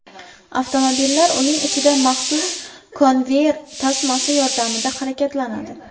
Avtomobillar uning ichida maxsus konveyer tasmasi yordamida harakatlanadi.